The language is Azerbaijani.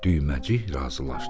Düyməcik razılaşdı.